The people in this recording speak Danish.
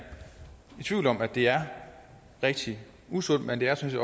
i tvivl om at det er rigtig usundt men det er sådan